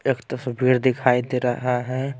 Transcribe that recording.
एक तस्वीर दिखाई दे रहा है।